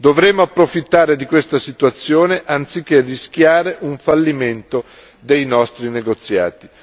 Dovremmo approfittare di questa situazione anziché rischiare un fallimento dei nostri negoziati.